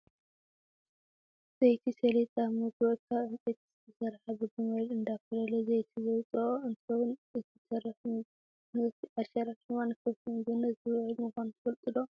ዘይቲ ሰሊጥ ኣብ መጉእ ካብ ዕንፀይቲ ዝተሰረሓ ብግመል እንዳኮለለ ዘይቲ ዘውፀኦ እንትከውን እቲ ተረፍ ምህርቲ ዓሸራ ድማ ንከፍቲ ምግብነት ዝውዕል ምኳኑ ትፈልጡ ዶ?